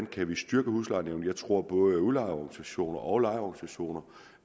kan styrke huslejenævnene jeg tror at både udlejerorganisationer og lejerorganisationer